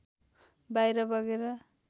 बाहिर बगेर